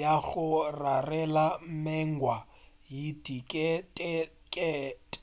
ya go rarela mengwa ye diketekete